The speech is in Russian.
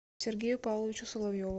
сергею павловичу соловьеву